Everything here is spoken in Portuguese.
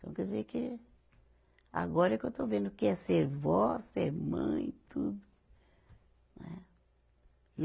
Então quer dizer que agora é que eu estou vendo o que é ser vó, ser mãe, tudo. Né